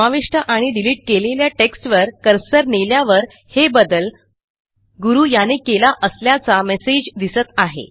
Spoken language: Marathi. समाविष्ट आणि डिलिट केलेल्या टेक्स्टवर कर्सर नेल्यावर हे बदल गुरू याने केला असल्याचा मेसेज दिसत आहे